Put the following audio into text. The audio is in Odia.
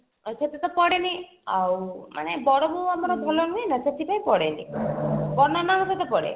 ସେଥିରେ ତ ପଡେନି ଆଉ ମାନେ ବଡ ବୋଉ ଆମର ଭଲ ହୁଏନା ସେଥିପାଇଁ ପଡେ ବଡ ନନାଙ୍କ ସହ ପଡେ